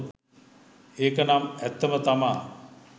ඒකනම් ඇත්තම තමා